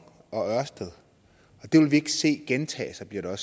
og ørsted og det vil vi ikke se gentage sig bliver der